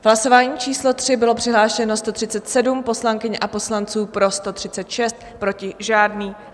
V hlasování číslo 3 bylo přihlášeno 137 poslankyň a poslanců, pro 136, proti žádný.